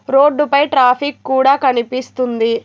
Road పై traffic కుడా కనిపిస్తుంది.